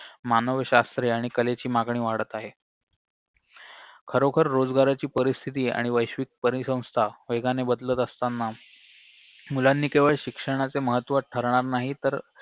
मानवशास्त्रे आणि कलेची मागणी वाढत आहे खरोखर रोजगाराची परिस्थिती आणि वैश्विक परिसंस्था वेगाने बदलत असताना मुलांनी केवळ शिक्षणाचे महत्व ठरणार नाही तर